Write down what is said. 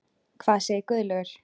Hvað segir Guðlaugur?